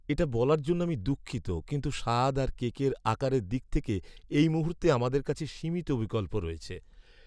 এটা বলার জন্য আমি দুঃখিত, কিন্তু স্বাদ আর কেকের আকারের দিক থেকে এই মুহূর্তে আমাদের কাছে সীমিত বিকল্প রয়েছে।